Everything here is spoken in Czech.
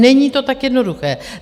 Není to tak jednoduché.